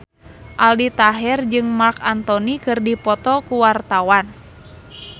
Aldi Taher jeung Marc Anthony keur dipoto ku wartawan